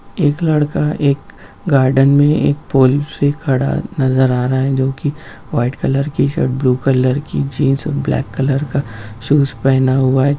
एक लड़का एक गार्डन में एक पोल से खड़ा नजर आ रहा है जो को white colour shirt blue colour की जीन्स ब्लैक कलर का शूज पहना हुआ है।